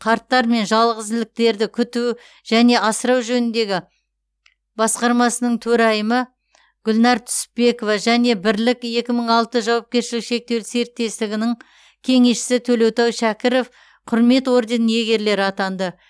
қарттар мен жалғызіліктілерді күту және асыру жөніндегі басқармасының төрайымы гүлнар түсіпбекова және бірлік екі мың алты жауапкершілігі шектеулі серіктестігінің кеңесшісі төлеутай шәкіров құрмет орденінің иегерлері атанды